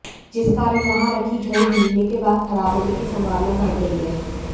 जिस कारण वहां रखी गेहूं भीगने के बाद खराब होने की संभावना बढ़ गई है